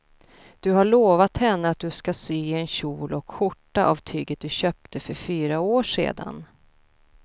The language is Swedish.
Du har lovat henne att du ska sy en kjol och skjorta av tyget du köpte för fyra år sedan.